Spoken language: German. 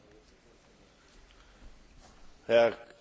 Frau Präsidentin, Herr Kommissar!